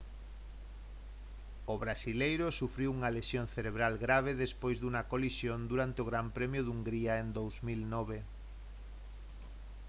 o brasileiro sufriu unha lesión cerebral grave despois dunha colisión durante o gran premio de hungría en 2009